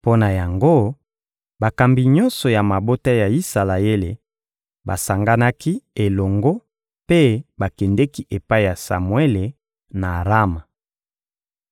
Mpo na yango, bakambi nyonso ya mabota ya Isalaele basanganaki elongo mpe bakendeki epai ya Samuele, na Rama.